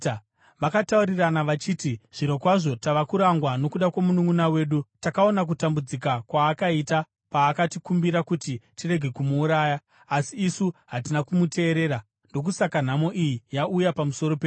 Vakataurirana vachiti, “Zvirokwazvo tava kurangwa nokuda kwomununʼuna wedu. Takaona kutambudzika kwaakaita paakatikumbira kuti tirege kumuuraya, asi isu hatina kumuteerera; ndokusaka nhamo iyi yauya pamusoro pedu.”